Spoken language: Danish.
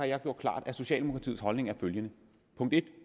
jeg gjort klart at socialdemokratiets holdning er følgende punkt 1